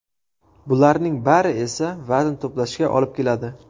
Bularning bari esa vazn to‘plashga olib keladi.